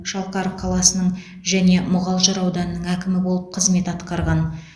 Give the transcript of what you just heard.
шалқар қаласының және мұғалжар ауданының әкімі болып қызмет атқарған